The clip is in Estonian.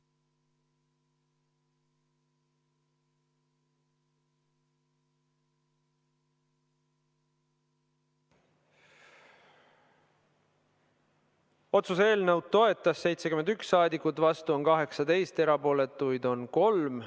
Otsuse eelnõu toetas 71 rahvasaadikut, vastuolijaid oli 18 ja erapooletuid 3.